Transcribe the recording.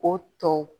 O tɔ